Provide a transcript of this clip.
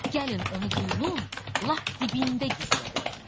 Gəlin onu quyunun lap dibində gizlədək.